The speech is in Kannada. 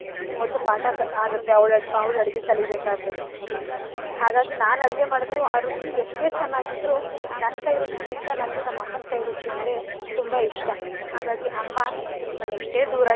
ಮೊದ್ಲು ಪಾಠ ಆಗುತ್ತೆ ಅವ್ಳ್~ ಅವ್ಳ ಅಡ್ಗೆ ಕಲೀಬೇಕಾದ್ರೆ ಹಾಗಾಗಿ ನಾನ್ ಅಡ್ಗೆ ಮಾಡಬೇಕಾದ್ರು ಆ ರುಚಿ ಎಷ್ಟೇ ಚನಾಗಿದ್ರೂ ನನ್ ಕೈರುಚಿಗಿಂತ ನಮ್ ಅಮ್ಮನ್ ಕೈರುಚಿ ಅಂದ್ರೆ ತುಂಬ ಇಷ್ಟ. ಹಾಗಾಗಿ ಅಮ್ಮ ನಾನ್ ಎಷ್ಟೇ ದೂರ,